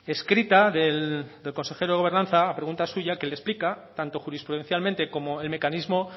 escrita del consejero de gobernanza a pregunta suya que le explica tanto jurisprudencialmente como el mecanismo